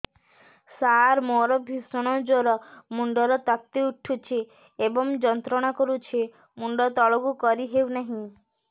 ସାର ମୋର ଭୀଷଣ ଜ୍ଵର ମୁଣ୍ଡ ର ତାତି ଉଠୁଛି ଏବଂ ଯନ୍ତ୍ରଣା କରୁଛି ମୁଣ୍ଡ ତଳକୁ କରି ହେଉନାହିଁ